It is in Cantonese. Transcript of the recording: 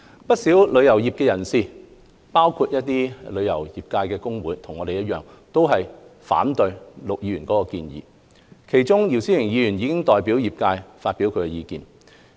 不少旅遊業界人士，包括旅遊業界工會，和我們一樣，都反對陸議員的建議，其中姚思榮議員已代表業界就此表達意見。